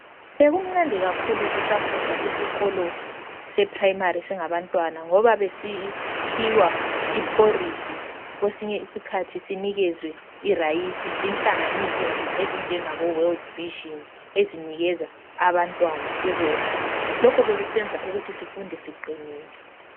Bekumnandi kakhulu sisafunda esikolo seprayimari singabantwana ngoba besiphiwa ilambazi lerayisi zinhlanganiso ezifana laboWorld Vision ezinikeza abantwana ukudla. Lokho bekusenza ukuthi sifunde siqinile.